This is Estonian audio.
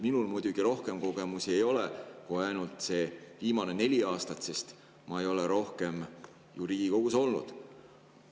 Minul rohkem kogemusi ei ole kui ainult see viimane neli aastat, sest ma ei ole rohkem ju Riigikogus olnud.